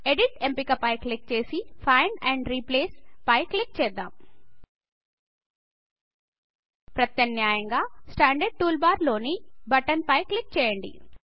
edit ఎంపిక పై click చేసి ఫైండ్ ఆండ్ రిప్లేస్ పై క్లిక్ చేద్దాం ప్రత్యామ్నాయంగా స్టాండర్డ్ టూల్ బార్ లోని బటన్ పై క్లిక్ చేద్దాం